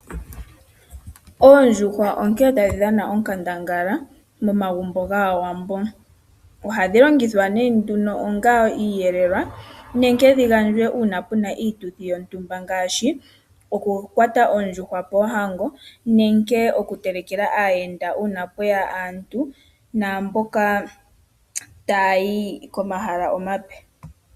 Oondjuhwa onke tadhi dhana onkandangala momagumbo gAawambo. Ohadhi longithwa ne nduno onga iiyelelwa nenke dhigandjwe una puna iituthi yontumba ngashi oku kwata oondjuhwa poohango nenge oku telekela aayenda una pweya aantu naamboka ta ya yi komahala omape.